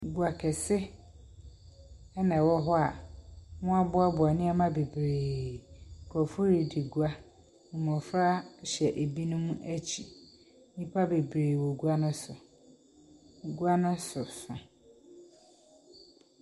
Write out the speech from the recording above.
Gua kɛse ɛna ɛwɔ hɔ a wɔaboaboa nneɛma bebree. Nkrɔfoɔ redi gua. Mmofra hyɛ ebinom akyi. Nnipa bebree wɔ gua no so. Gua no soso.